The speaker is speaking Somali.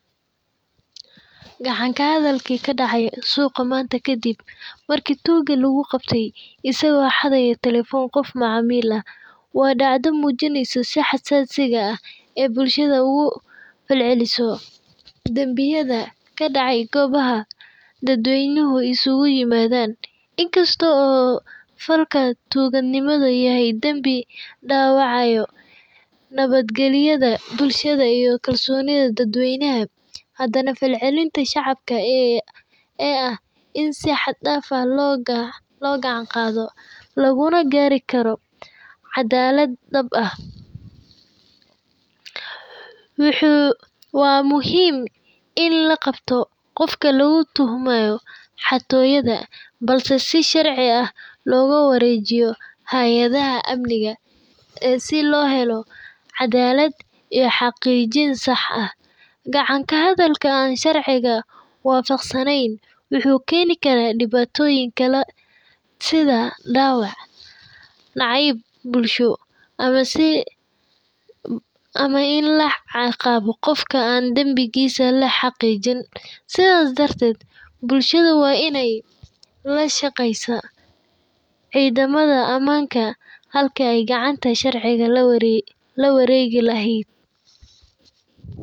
Gacan ka hadalkii ka dhacay suuqa maanta kadib markii toogga lagu qabtay isagoo xadaya telefoon qof macamiil ah waa dhacdo muujinayso si xasan sida ah ee bulshada ugu falceliso dambiyada ka dhacay goobaha dadweynuhu isugu yimaadaan inkastoo falka toggannimada yahay dambi dhaawacayo nabadgelyada bulshada iyo kalsoonida dadweynaha haddana falcelinta shacabka ee ah in si xad dhaaf ah loo gacan qaado laguna gaari karo cadaalad dhab ah, waa muhiim in la qabto qofka lagu tuhmayo xatooyada balse si sharci ah looga wareejiyo hay-adaha amniga ee si loo helo caddaalad iyo xaqiijin sax ah gacan ka hadalada aan sharciga waafaqsaneyn wuxuu keeni karaa dhibaatooyin kala sida dhaawac , nacayb bulsho ama iin laa cin qawo qofka an dhambigisa la xaqijin sidaas darteed bulshada waa inay la shaqeysa ciidamada aamanka halka ay gacanta sharciga la wareegi laheyd.